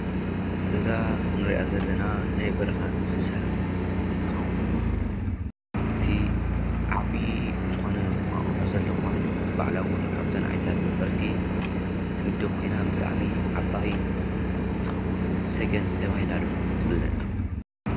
እዛ እንሪኣ ዘለና ናይ በረካ እንስሳ እንትከውን እቲ ዓብይ ዝኮነ እንቋቆሖ ዘለዋን ባዕላ እውን ካብተን ዓይነታት ነፈርቲ ትምደብ ኮይና ብጣዕሚ ዓበይን እትከውን ሰገን ተባሂላ ድማ ትፍላጥ።